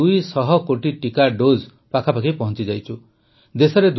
ଆମେ ୨୦୦ କୋଟି ଟିକା ଡୋଜ୍ ପାଖାପାଖି ପହଂଚିଯାଇଛୁ